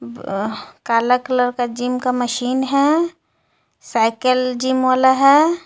काला कलर का जिम का मशीन है साइकिल जिम वाला है.